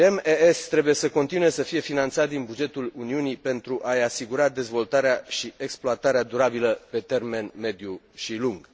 GMES trebuie să continue să fie finanțat din bugetul Uniunii, pentru a i asigura dezvoltarea și exploatarea durabilă, pe termen mediu și lung.